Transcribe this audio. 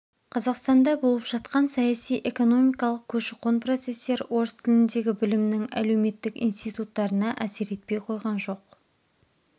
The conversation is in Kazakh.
қазақстанда болып жатқан саяси экономикалық көші-қон процестер орыс тіліндегі білімнің әлеуметтік институттарына әсер етпей қойған жоқ